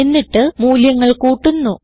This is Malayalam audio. എന്നിട്ട് മൂല്യങ്ങൾ കൂട്ടുന്നു